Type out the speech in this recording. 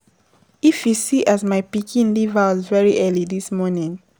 If you see as my pikin leave house very early dis morning.